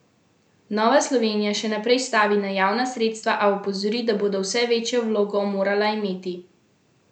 Nova Slovenija še naprej stavi na javna sredstva, a opozori, da bodo vse večjo vlogo morala imeti zasebna sredstva.